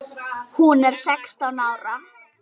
Hún er sextán ára.